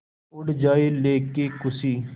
उड़ जाएं लेके ख़ुशी